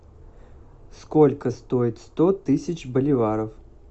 сколько стоит сто тысяч боливаров